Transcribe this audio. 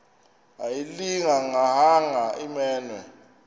ayilinga gaahanga imenywe